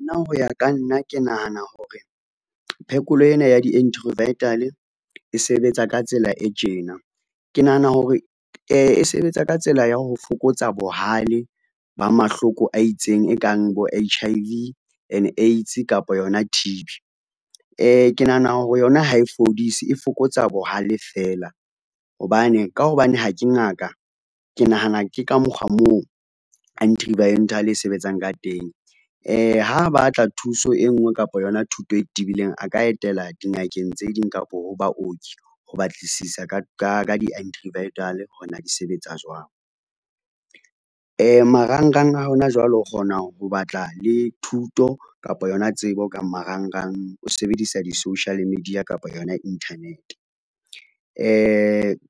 Nna ho ya ka nna ke nahana hore, phekolo ena ya e sebetsa ka tsela e tjena, ke nahana hore sebetsa ka tsela ya ho fokotsa bohale ba mahloko a itseng e kang bo H_I_V and AIDS kapa yona T_B. Ke nahana hore yona ha e fodise e fokotsa bohale fela, hobane ka hobane ha ke ngaka ke nahana ke ka mokgwa moo e sebetsang ka teng. Ha batla thuso e ngwe kapa yona thuto e tibileng, a ka etela dingakeng tse ding kapa ho baoki ho batlisisa ka hore na di sebetsa jwang. Marangrang a hona jwale o kgona ho batla le thuto kapa yona tsebo ka marangrang, o se sebedisa na di-social media kapa yona internet.